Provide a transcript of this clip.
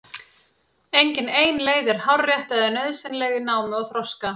Engin ein leið er hárrétt eða nauðsynleg í námi og þroska.